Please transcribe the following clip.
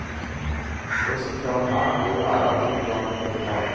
For det sentrale her må jo være at det går bra med mor og barn.